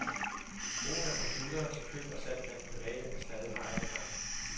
Brugen af computere til køb og salg blandt private er stadig meget begrænset.